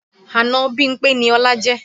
Àna Bímpé ni Ọlá jẹ́